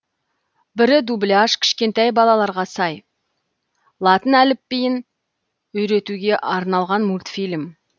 бірі дубляж кішкентай балаларға сай латын әліпбиін үйретуге арналған мультфильм